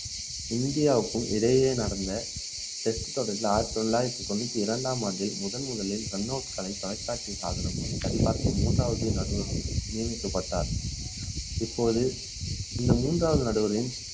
இந்தியாவுக்கும் இடையே நடந்த test தொடரில் ஆயிரத்து தொள்ளாயிரத்து தொன்னூற்று இரண்டாம் ஆண்டில் முதல்முதலில் கண்ணோக்கு கலை தொலைக்காட்சி சாதனமும் சரிபார்க்க மூன்றாவது நடுவர் நியமிக்கப்பட்டார் இப்போது இந்த மூன்றாவது நடுவரின்